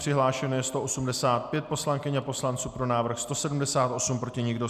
Přihlášeno je 185 poslankyň a poslanců, pro návrh 178, proti nikdo.